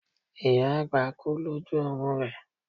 ìyá àgbà kú loju oorun rẹ